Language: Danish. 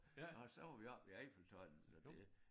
Og så var vi oppe i Eiffeltårnet og det